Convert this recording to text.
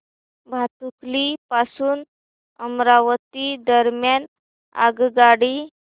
भातुकली पासून अमरावती दरम्यान आगगाडी